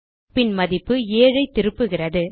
பின் மதிப்பு 7 ஐ திருப்புகிறது